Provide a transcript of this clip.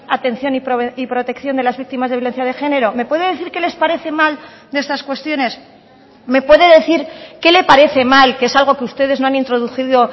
atención y protección de las víctimas de violencia de género me puede decir qué les parece mal de estas cuestiones me puede decir qué le parece mal que es algo que ustedes no han introducido